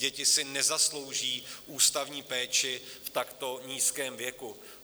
Děti si nezaslouží ústavní péči v takto nízkém věku.